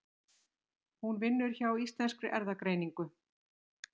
Hún vinnur hjá Íslenskri Erfðagreiningu.